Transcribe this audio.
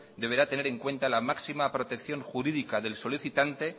deberá tener en cuenta la máxima protección jurídica del solicitante